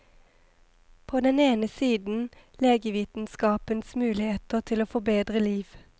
På den ene siden legevitenskapens muligheter til å forbedre liv.